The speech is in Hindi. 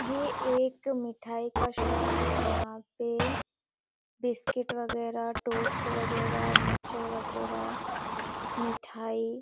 ये एक मिठाई का शॉप है यहाँ पे बिस्किट वगैरा टोस्ट वगैरा मिक्सर वगैरा मिठाई--